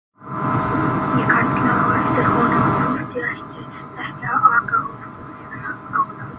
Ég kallaði á eftir honum hvort ég ætti ekki að aka honum yfir ána.